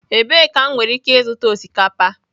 Ebee ka m nwere ike ịzụta osikapa?